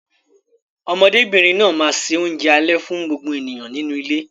Ọmọdébìnrin náà máa ṣe oúnjẹ alẹ́ fún gbogbo ènìyàn nínú ilé.